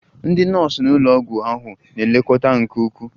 Ndị nọọsụ nọ n'ụlọ ọgwụ ahụ na-elekọta nke ukwuu